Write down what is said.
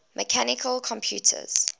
mechanical computers